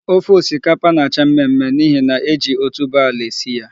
Ofe osikapa na-acha mmemme n'ihi na e ji otubo ala esi ya.